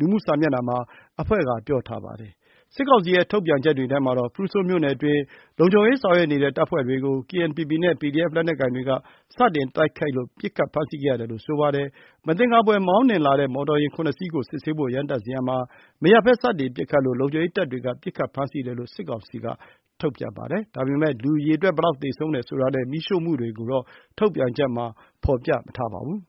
လူမှုကွန်ရက် စာမျက်နှာပေါ်မှာ အဖွဲ့က ပြောထားပါတယ်။ စစ်ကောင်စီရဲ့ ထုတ်ပြန်ချက်တွေထဲမှာတော့ ဖရူဆိုမြို့နယ်အတွင်း လုံခြုံရေးဆောင်ရွက်နေတဲ့ တပ်ဖွဲ့တွေကို KNPP နဲ့ PDF လက်နက်ကိုင်တွေက စတင်တိုက်ခိုက်လို့ ပစ်ခတ်ဖမ်းဆီးခဲ့တယ်လို့ ဆိုပါတယ်။ မသင်္ကာဖွယ် မောင်းနှင်လာတဲ့ မော်တော်ယာဉ်ခုနှစ်စီးကို စစ်ဆေးဖို့ ရပ်တန့်စေရာမှာ မရပ်ဘဲ စတင်ပစ်ခတ်လို့ လုံခြုံရေးတပ်တွေက ပစ်ခတ်ဖမ်းဆီးတယ်လို့ စစ်ကောင်စီက ထုတ်ပြန်ပါတယ်။ ဒါပေမယ့် လူအရေအတွက် ဘယ်လောက်သေဆုံးတယ် ဆိုတာနဲ့ မီးရှို့မှုတွေကိုတော့ ထုတ်ပြန်ချက်မှာ မဖော်ပြပါဘူး